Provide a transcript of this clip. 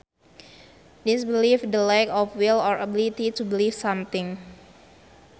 Disbelief the lack of will or ability to believe something